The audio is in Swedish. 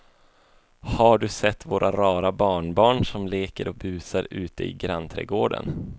Har du sett våra rara barnbarn som leker och busar ute i grannträdgården!